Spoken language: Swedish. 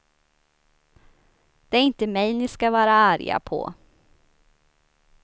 Det är inte mig ni ska vara arga på.